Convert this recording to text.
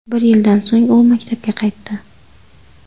Bir yildan so‘ng u maktabga qaytdi .